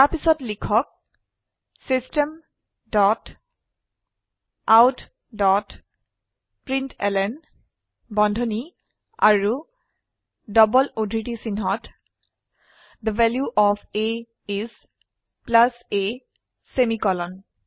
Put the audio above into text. তাৰপিছত লিখক system dot out dot println বন্ধনী আৰু ডবল উদ্ধৃতি চিনহত the value of a each a semicolon